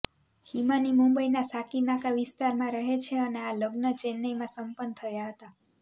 હિમાની મુંબઈના સાકીનાકા વિસ્તારમાં રહે છે અને આ લગ્ન ચેન્નઈમાં સંપન્ન થયા હતા